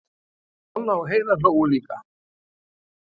Kolla og Heiða hlógu líka.